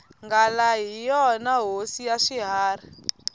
nghala hi yona hosi ya swiharhi